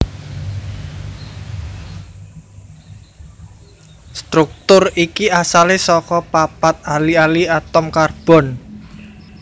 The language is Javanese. Struktur iki asalé saka papat ali ali atom karbon